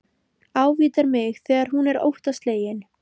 Ávítar mig þegar hún er óttaslegin.